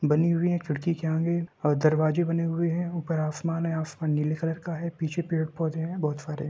बनी हुई है खिड़की के आगे और दरवाजे बने हुए हैं ऊपर आसमान है आसमान नीले कलर का है। पीछे पेड़-पौधे हैं बहोत सारे।